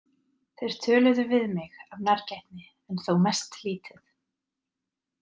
Þeir töluðu við mig af nærgætni en þó mest lítið.